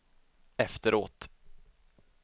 efteråt